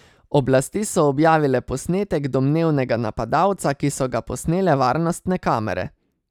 Oblasti so objavile posnetek domnevnega napadalca, ki so ga posnele varnostne kamere.